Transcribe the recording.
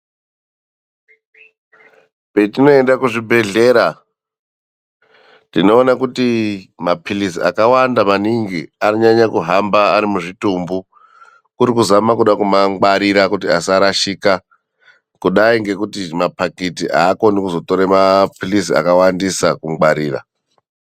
Patinoenda kuzvibhedhlera tinoona kuti mapilizi akawanda maningi anenge ari muzvitumbu kuri kuzama kumangwarira kuti asarashika kudai kudaingekuti zvipakiti akoninkuzotore mapilizi akawandisa kungwariram.